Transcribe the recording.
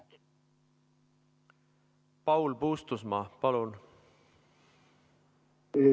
Paul Puustusmaa, palun!